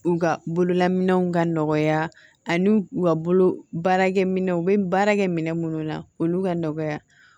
U ka bololaminɛnw ka nɔgɔya ani u ka bolo baarakɛminɛnw u bɛ baara kɛ minɛn minnu na olu ka nɔgɔya